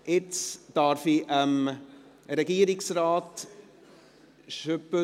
Darf ich jetzt Herrn Regierungsrat das Wort erteilen?